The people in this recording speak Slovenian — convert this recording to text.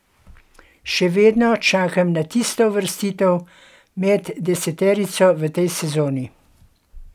Še vedno čakam na tisto uvrstitev med deseterico v tej sezoni.